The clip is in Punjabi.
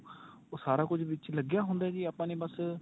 ਉਹ ਸਾਰਾ ਕੁੱਝ ਵਿੱਚ ਲੱਗਿਆ ਹੁੰਦਾ ਜੀ ਆਪਾਂ ਨੇ ਬੱਸ